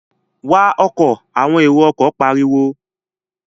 Wa ọkọ̀! àwọn èrò ọkọ̀ pariwo